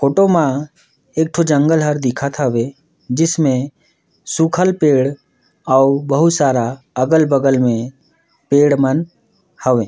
फोटो म एक ठो जंगल हर दिखत हवे जिसमे सूखल पेड़ अउ बोहुत सारा अगल - बगल में पेड़ मन हवे।